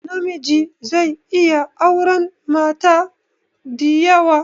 Namiji zai iya auran mata diyawa